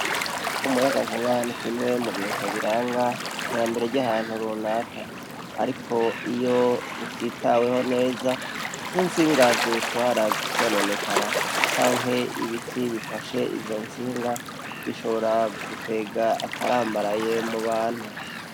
Umuyangankuba nikimwe mubintu biranga iterambere ryahantu runaka, ariko iyo utitaweho neza nkintsinga ziwutwara zikononekara canke ibiti bifashe izo ntsinga bishobora gukwega akarambaraye mubantu.